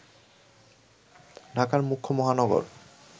ঢাকার মুখ্য মহানগর